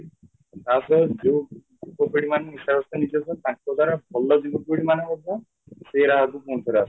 ତା ସହ ଯୋଉ ଯୁବପିଢ଼ି ମାନେ ନିଶାଗ୍ରସ୍ତ ନିଜେ ଅଛନ୍ତି ତାଙ୍କ ଦ୍ଵାରା ଭଲ ଯୁବପିଢ଼ି ମାନେ ମଧ୍ୟ ସେଇ ରାହା କୁ ପୁଣିଥରେ ଆସୁଛନ୍ତି